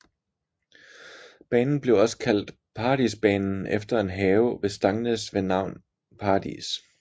Banen blev også kaldt Paradisbanen efter en have ved Stangnes ved navn Paradis